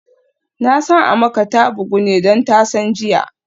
Nasan Amaka ta bugu ne don tasan jiya